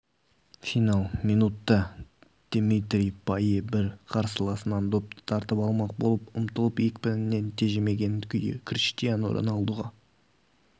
финал минутта димитри пайе бір қарсыласынан допты тартып алмақ болып ұмтылып екпінін тежемеген күйі криштиану роналдуға